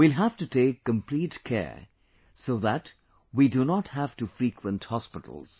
We will have to take complete care so that we do not have to frequent hospitals